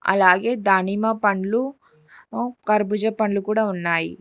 అలాగే దానిమ్మ పండ్లు కర్బుజా పండ్లు కూడా ఉన్నాయి.